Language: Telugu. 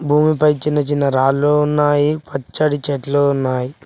భూమిపై చిన్న చిన్న రాళ్ళు ఉన్నాయి పచ్చటి చెట్లు ఉన్నాయి.